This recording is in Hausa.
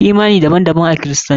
Imani daban daban a kiristanci.